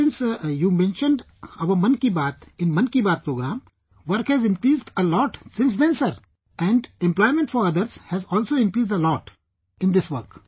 Ever since you mentioned our Man Ki Baat in Mann ki Baat programme, sir, work has increased a lot since then sir and employment for others has also increased a lot in this work